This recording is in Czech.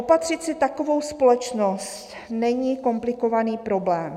Opatřit si takovou společnost není komplikovaný problém.